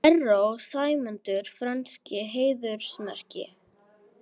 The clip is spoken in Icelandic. Erró sæmdur frönsku heiðursmerki